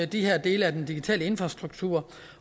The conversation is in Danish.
de dele af den digitale infrastruktur